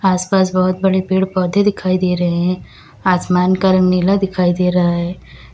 आसपास बहुत बड़े पेड़ पौधे दिखाई दे रहे हैं आसमान का रंग नीला दिखाई दे रहा है।